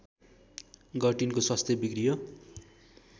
गर्टिनको स्वास्थ्य बिग्रियो